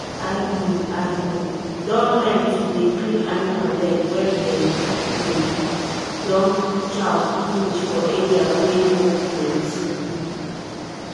i um i um don learn to dey clean animal leg when dem um don chow finish for area wey mud plenty.